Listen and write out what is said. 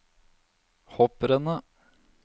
hopprennet